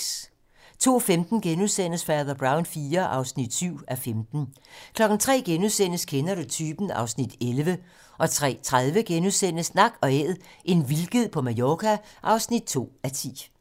02:15: Fader Brown IV (7:15)* 03:00: Kender du typen? (Afs. 11)* 03:30: Nak & Æd - en vildged på Mallorca (2:10)*